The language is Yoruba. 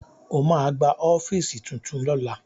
Ó ma gba ọ́fíìsì tuntun lọ́la